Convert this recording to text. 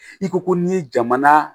I ko ko n'i ye jamana